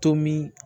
Tomi